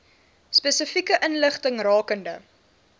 spesifieke inligting rakende